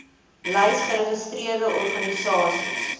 lys geregistreerde organisasies